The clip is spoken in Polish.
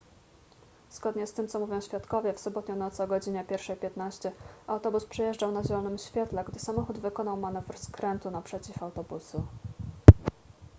zgodnie z tym co mówią świadkowie w sobotnią noc o godzinie 1:15 autobus przejeżdżał na zielonym świetle gdy samochód wykonał manewr skrętu naprzeciw autobusu